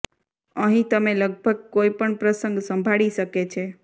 અહીં તમે લગભગ કોઈ પણ પ્રસંગ સંભાળી શકે છે